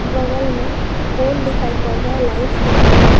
बगल में पोल दिखाई पड़ रहा है और लाइट दिखाई पड़ रहा --